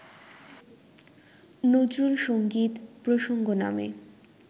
নজরুলসংগীত প্রসঙ্গ নামে